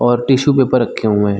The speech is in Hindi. और टिश्यू पेपर रखे हुए है।